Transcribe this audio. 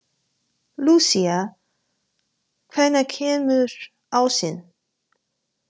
Lúsía, hvenær kemur ásinn?